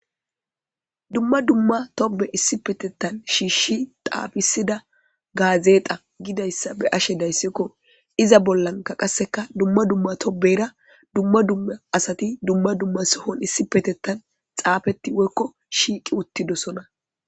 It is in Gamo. dumma dumma tobe issi petettan shiishshi taafisida gaazeeta gidayssa be'ashe dayssikko iza bollanka qasseka dumma dumma tobeyra dumma dumma asati dumma dumma sohon issi petettan xaafeti woykko shiiqi uttidosona